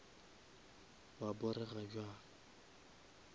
wa porega bjang